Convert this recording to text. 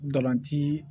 Ntolan ci